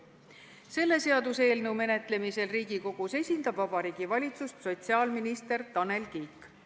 Selle seaduseelnõu menetlemisel Riigikogus esindab Vabariigi Valitsust sotsiaalminister Tanel Kiik.